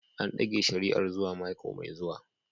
An dage shari'ar zuwa mako mai zuwa.